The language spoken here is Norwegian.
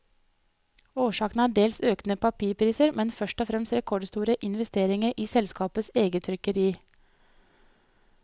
Årsaken er dels økende papirpriser, men først og fremst rekordstore investeringer i selskapets eget trykkeri.